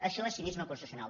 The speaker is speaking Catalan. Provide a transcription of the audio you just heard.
això és cinisme constitucional